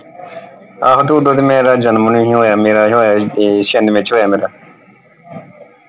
ਆਹੋ ਤੇ ਉਦੋਂ ਤੇ ਮੇਰਾ ਜਨਮ ਹੀ ਨਹੀਂ ਹੋਇਆ ਮੇਰਾ ਹੋਇਆ ਸੀ ਇਹ ਛਿਆਨਵੇਂ ਚ ਹੋਇਆ ਮੇਰਾ।